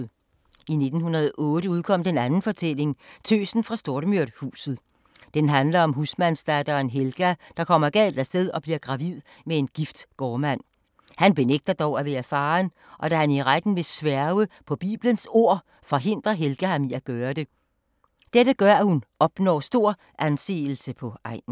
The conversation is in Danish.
I 1908 udkom den anden fortælling; Tøsen fra Stormyrhuset. Den handler om husmandsdatteren Helga, der kommer galt af sted og bliver gravid med en gift gårdmand. Han benægter dog at være faren, og da han i retten vil sværge på Bibelens ord, forhindrer Helga ham i det. Dette gør, at hun opnår stor anseelse på egnen.